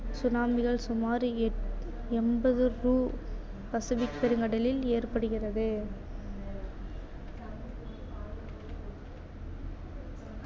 tsunami சுமார் எட் Pacific பெருங்கடலில் ஏற்படுகிறது.